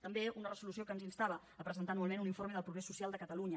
també una resolució que ens instava a presentar anualment un informe del progrés social de catalunya